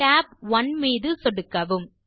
tab 1 மீது சொடுக்கவும்